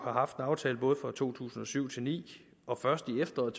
har haft en aftale for to tusind og syv til nul ni og først i efteråret